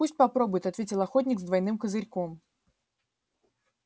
пусть попробует ответил охотник с двойным козырьком